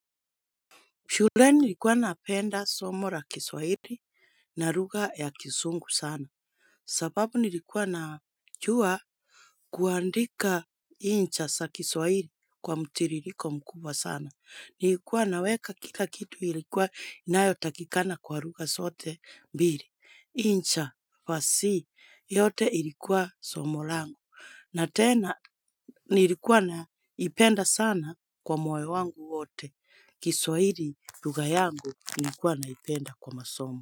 Shuleni nilikuwa apenda somo la kiswahili na lugha ya kizungu sana. Sababu nilikuwa najua kuandika insha za kiswahili kwa mtirriiko mkubwa sana. Nilikuwa naweka kika kitu ilikuwa inayotakikana kwa lugha zote mbili. Insha, fasihi, yote ilikuwa somo langu. Na tena nilikuwa naipenda sana kwa moyo wangu wote. Kiswahili lugha yangu nikuwa naipenda kwa masomo.